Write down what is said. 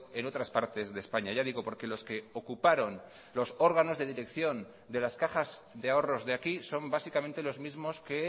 en otras partes de españa ya digo porque los que ocuparon los órganos de dirección de las cajas de ahorros de aquí son básicamente los mismos que